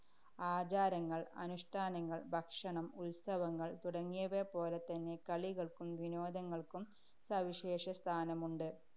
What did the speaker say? ആചാരങ്ങള്‍, അനുഷ്ഠാനങ്ങള്‍, ഭക്ഷണം, ഉത്സവങ്ങള്‍ തുടങ്ങിയവയെപ്പോലെതന്നെ കളികള്‍ക്കും വിനോദങ്ങള്‍ക്കും സവിശേഷസ്ഥാനമുണ്ട്.